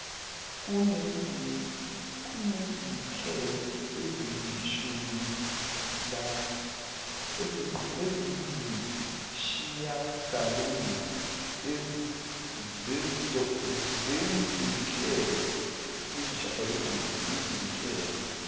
kunezinhlelo eziyisishiyagalombili zezinhlelo